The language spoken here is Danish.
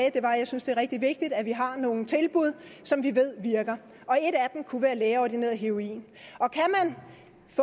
at jeg synes det er rigtig vigtigt at vi har nogle tilbud som vi ved virker og kunne være lægeordineret heroin